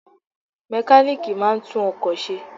Mẹkálíkì máa ń tún ọkọ̀ ṣe.